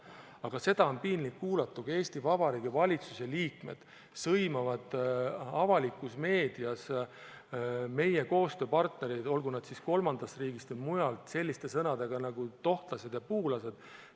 Aga on piinlik kuulata, kui Eesti Vabariigi valitsuse liikmed sõimavad avalikus meedias meie koostööpartnereid, olgu nad siis kolmandast riigist või mujalt, selliste sõnadega nagu "tohtlased ja puulased".